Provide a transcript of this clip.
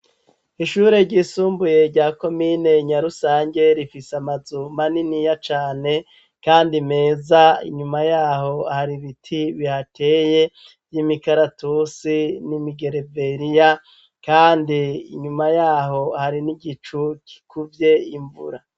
Ishure ryisumbuye ryako minenyarusange rifise amazuma n'iniya cane, kandi meza inyuma yaho hari ibiti bihateye vy'imikaratusi n'imigereveriya, kandi inyuma yaho hari n'igicu kikuvye imvura.